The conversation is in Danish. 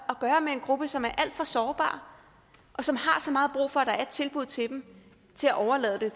at gøre med en gruppe som er alt for sårbar og som har så meget brug for at der er et tilbud til dem til at overlade